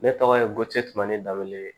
Ne tɔgɔ ye ko temani dabele ye